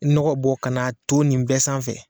I ni nɔgɔ bɔ ka n'a ton nin bɛɛ sanfɛ.